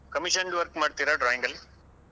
Commissioned work ಮಾಡ್ತೀರಾ drawing ಅಲ್ಲಿ?